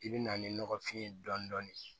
I bɛ na ni nɔgɔfin ye dɔɔnin dɔɔnin